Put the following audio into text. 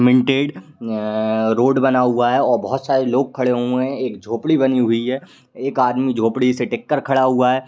Minted अअअअअ road बना हुआ है और बोहत सारे लोग खड़े हुए हैं। एक झोपड़ी बनी हुई है। एक आदमी झोपड़ी से टिक कर खड़ा हुआ है।